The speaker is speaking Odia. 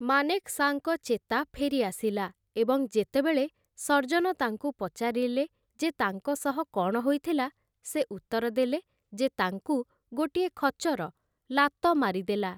ମାନେକ୍‌ଶାଙ୍କ ଚେତା ଫେରି ଆସିଲା, ଏବଂ ଯେତେବେଳେ ସର୍ଜନ ତାଙ୍କୁ ପଚାରିଲେ ଯେ ତାଙ୍କ ସହ କ'ଣ ହୋଇଥିଲା, ସେ ଉତ୍ତର ଦେଲେ ଯେ ତାଙ୍କୁ ଗୋଟିଏ ଖଚର ଲାତ ମାରିଦେଲା ।